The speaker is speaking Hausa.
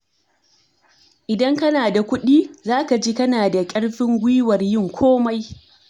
Idan kana da kuɗi, zaka ji kana da ƙarfin guiwar yin komai.